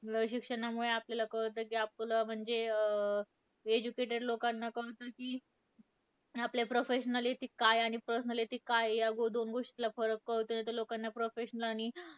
शिक्षणामुळे आपल्याला कळतं की आपलं, म्हणजे अं educated लोकांना कळतं की, आपल्या professionality काय आणि personality काय. या दोन गोष्टी फळ कळतं नाहीतर लोकांना professional आणि